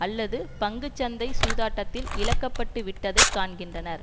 அல்லது பங்கு சந்தை சூதாட்டத்தில் இழக்கப்பட்டு விட்டதை காண்கின்றனர்